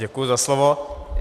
Děkuji za slovo.